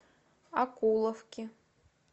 окуловки